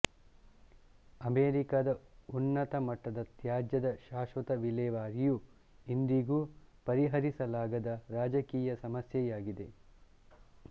ಅಮೆರಿಕದ ಉನ್ನತ ಮಟ್ಟದ ತ್ಯಾಜ್ಯದ ಶಾಶ್ವತ ವಿಲೇವಾರಿಯು ಇಂದಿಗೂ ಪರಿಹರಿಸಲಾಗದ ರಾಜಕೀಯ ಸಮಸ್ಯೆಯಾಗಿದೆ